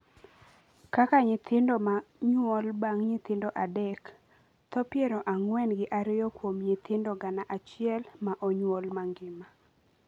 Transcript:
kaka nyithindo ma nyuol bang’ nyithindo adek (tho piero ang'wen gi ariyo kuom nyithindo gana achiel ma onyuol mangima)